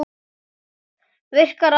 Virkar aldrei.